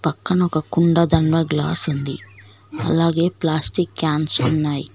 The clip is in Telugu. పక్కన ఒక కుండ దానిమీద గ్లాస్ ఉంది అలాగే ప్లాస్టిక్ క్యాన్స్ ఉన్నాయి.